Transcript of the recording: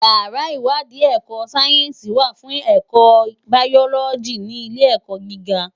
Iyàrá iwàdí èkò sáyènsí wá fún èkò báyòlògí ni ilé èkò gigá